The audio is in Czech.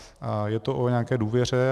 A je to o nějaké důvěře.